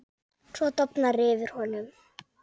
Svo dofnar yfir honum.